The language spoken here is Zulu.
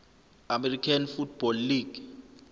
american football league